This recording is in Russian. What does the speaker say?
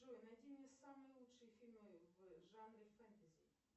джой найди мне самые лучшие фильмы в жанре фэнтези